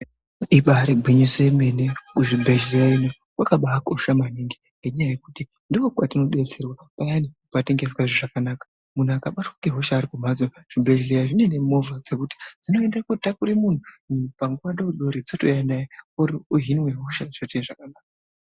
Ibaari gwinyiso yemene, kuzvibhedhleya ino kwakabaakosha maningi ngenyaya yekuti ndokwatinodetserwa payane patinenge tisingazwi zvakanaka. Muntu akabatwa ngehosha ari kumhatso zvibhedhlera zvinouya nemovha yekuti zvinoenda kotakura muntu zvouta naye ozvinwe hosha zvotoita zvakanaka